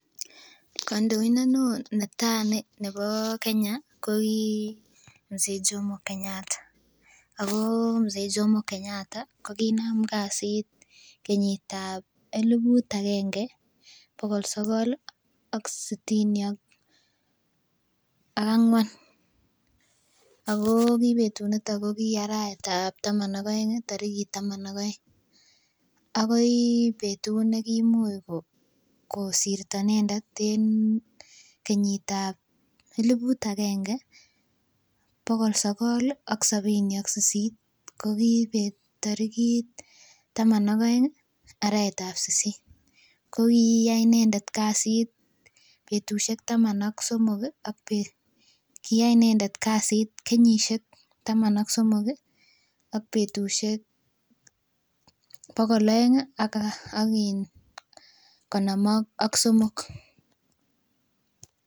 Kandoindet neoo netai ko ki mzee jomo Kenyatta ih , ko kinam kasit kenyitab elibut aenge bokol sogol ih sitini ak ang'uan ako kibetu nito ko ki arawetab taman ak aeng akoi kosirto inendet en kenyitab elibut akenge bokol sogol ih ak sabini ak sisit ko ki tarigit sisit arawetab taman ak aeng arawetab sisit inendet kokiyai kasit betusiek taman ak somok ih ak . Koyai inendet kasit kenyisiek taman ak somok ak betusiek bokol aeng ih ak in konom ak somok.